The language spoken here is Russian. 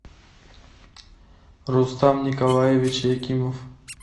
рустам николаевич якимов